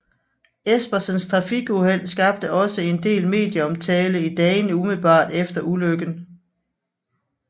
Espersens trafikuheld skabte også en del medieomtale i dagene umiddelbart efter ulykken